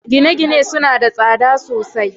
gine-gine suna da tsada sosai